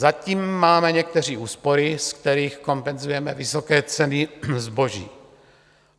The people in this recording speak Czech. Zatím máme někteří úspory, ze kterých kompenzujeme vysoké ceny zboží.